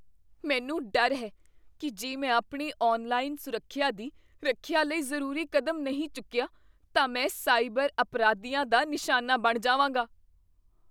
ਮੈਨੂੰ ਡਰ ਹੈ ਕੀ ਜੇ ਮੈਂ ਆਪਣੀ ਔਨਲਾਈਨ ਸੁਰੱਖਿਆ ਦੀ ਰੱਖਿਆ ਲਈ ਜ਼ਰੂਰੀ ਕਦਮ ਨਹੀਂ ਚੁੱਕਿਆ, ਤਾਂ ਮੈਂ ਸਾਈਬਰ ਅਪਰਾਧੀਆਂ ਦਾ ਨਿਸ਼ਾਨਾ ਬਣ ਜਾਵਾਂਗਾ।